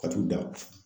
Ka t'u da